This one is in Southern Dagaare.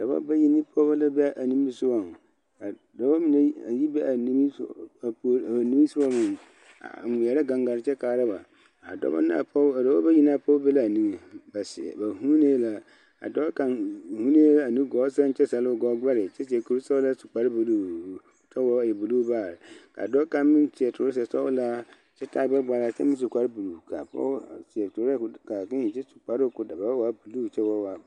Dɔba bayi ne pɔɡeba la be a nimisoɡa ka dɔbɔ mine a yi be a nimisoɡa a ŋmeɛrɛ ɡaŋɡare kyɛ kaara ba a dɔbɔ bayi ne a pɔɡe be la a niŋeŋ a seɛrɛ ba vuunee la a dɔɔ kaŋ vuunuu la a nuɡɔɔ sɛŋ kyɛ zɛle o ɡɔɔɡbɛre kyɛ seɛ kursɔɡelaa kyɛ su kparbuluu kyɛ o ba e buluu baare ka dɔɔ kaŋ meŋ seɛ torazasɔɡelaa kyɛ taa ɡbɛɡbala kyɛ meŋ su kparbuluu kaa pɔɡeba a seɛ torazabuluu kaakēē kyɛ su kparoo ka o da baa waa buluu kyɛ ba waa.